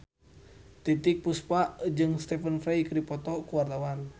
Titiek Puspa jeung Stephen Fry keur dipoto ku wartawan